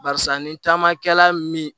Barisa ni caman kɛla min ye